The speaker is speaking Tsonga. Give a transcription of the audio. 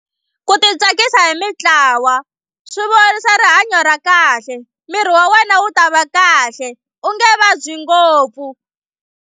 Ku titsakisa hi mitlawa swi vuyerisa rihanyo ra kahle miri wa wena wu ta va kahle u nge vabyi ngopfu.